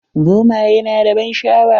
Zomayi na da ban sha'awa.